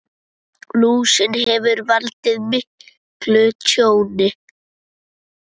Lúsin hefur valdið miklu tjóni.